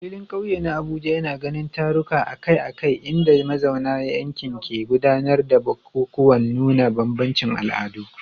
Filin kauye na Abuja yana ganin taruka akai-akai inda mazauna yankin ke gudanar da bukukuwan nuna bambancin al'adu.